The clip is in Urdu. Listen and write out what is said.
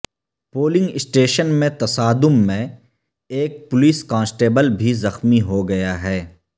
پولنگ اسٹیشن میں تصادم میں ایک پولیس کانسٹیبل بھی زخمی ہوگیا ہے